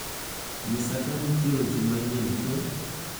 nyisa ka nitie weche manyien k